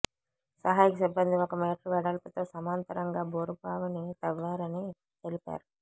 సహాయక సిబ్బంది ఒక మీటరు వెడల్పుతో సమాంతరంగా బోరుబావిని తవ్వారని తెలిపారు